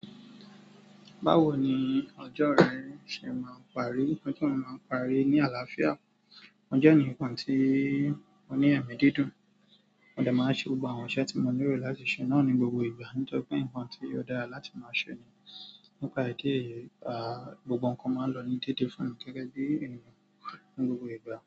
Báwo ni ọjọ́ rẹ ṣe máa ń parí? Ọjọ́ mi máa ń parí ní àlàáfíà. Mo jẹ́ ẹnìkan tí mo ní ẹ̀mí dídùn, mo dẹ̀ máa ṣe gbogbo àwọn iṣẹ́ tí mo nílò láti ṣe náà ní gbogbo ìgbà nítòrí pé nǹkan tí óò dára láti máa ṣe ni. Nípa ìdí èyí, a, gbogbo nǹkan máa ń lọ ní dédé fún mi gẹ́gẹ́ bí èèyàn ní gbogbo ìgbà.